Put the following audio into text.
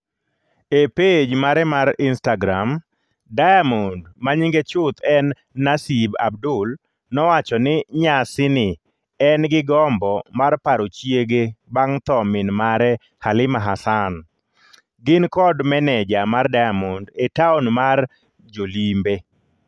E pej mare mar Instagram, Diamond ma nyinge chuth en Naseeb Abdul nowacho ni nyasi ni en gi gombo mar paro chiege bang' tho min mare Halima Hassan. Gin kod meneja mar Diamond e taon mar jolimbe.